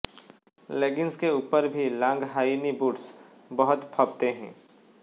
leggings के ऊपर भी लांग हाई नी बूट्स बहुत फबते हैं